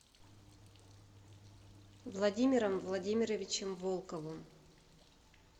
владимиром владимировичем волковым